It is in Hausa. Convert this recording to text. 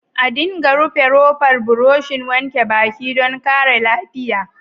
A dinga rufe rofar burushin wanke baki dan kare lafiya.